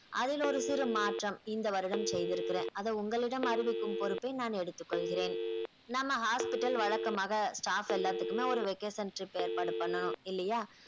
அதில் ஒரு சிறு மாற்றம் இந்த வருடம் செய்திருக்கிறேன் அத உங்களிடம் அறிவிக்கும் பொறுப்பை நான் எடுத்துக் கொள்கிறேன் நம்ம hospital வழக்கமாக staff எல்லாத்துக்குமே ஒரு vocation trip ஏற்பாடு பண்ணனும் இல்லையா